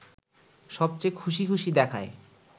সবচেয়ে খুশি খুশি দেখায়